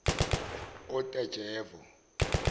otajevo